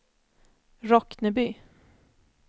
Rockneby